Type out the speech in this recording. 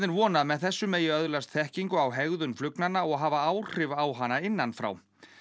vona að með þessu megi öðlast þekkingu á hegðun flugnanna og hafa áhrif á hana innan frá